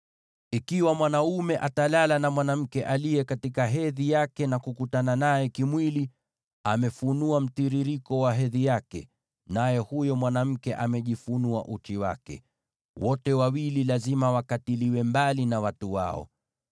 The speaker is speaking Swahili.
“ ‘Ikiwa mwanaume atalala na mwanamke aliye katika hedhi yake na kukutana naye kimwili, amefunua mtiririko wa hedhi yake, naye huyo mwanamke amejifunua uchi wake. Wote wawili lazima wakatiliwe mbali na watu wao.